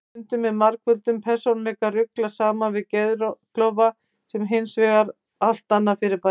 Stundum er margföldum persónuleika ruglað saman við geðklofa sem er hins vegar allt annað fyrirbæri.